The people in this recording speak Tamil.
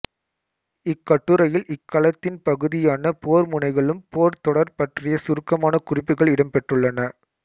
இக்கட்டுரையில் இக்களத்தின் பகுதியான போர்முனைகளும் போர்த்தொடர்கள் பற்றிய சுருக்கமான குறிப்புகள் இடம்பெற்றுள்ளன